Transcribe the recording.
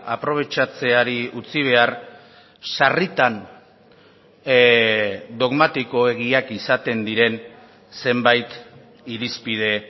aprobetxatzeari utzi behar sarritan dogmatikoegiak izaten diren zenbait irizpide